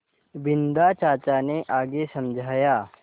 बिन्दा चाचा ने आगे समझाया